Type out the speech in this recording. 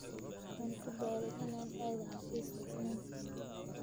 Waan ku daalay inaan aado xafiiska Isniin kasta.